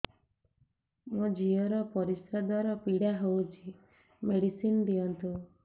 ମୋ ଝିଅ ର ପରିସ୍ରା ଦ୍ଵାର ପୀଡା ହଉଚି ମେଡିସିନ ଦିଅନ୍ତୁ